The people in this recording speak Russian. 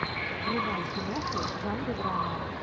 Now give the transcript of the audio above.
врубай киноху в жанре драма